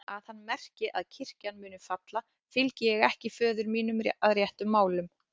Að hann merki að kirkjan muni falla, fylgi ég ekki föður mínum að réttum málum.